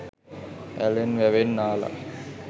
ඇලෙන් වැවෙන් නාල